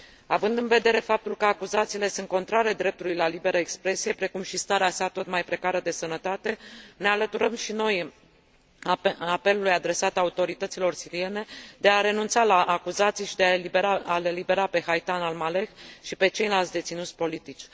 Având în vedere faptul că acuzațiile sunt contrare dreptului la liberă expresie, precum și starea sa tot mai precară de sănătate, ne alăturăm și noi apelului adresat autorităților siriene de a renunța la acuzații și de a l elibera pe Haitham Al Maleh și pe ceilalți deținuți politici.